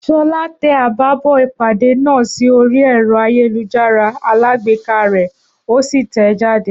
Ṣọlá tẹ àbábọ̀ ìpàdé náà sí orí ẹrọ ayélujára alágbèéká rẹ, òsì tẹẹ jáde